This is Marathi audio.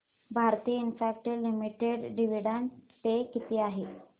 भारती इन्फ्राटेल लिमिटेड डिविडंड पे किती आहे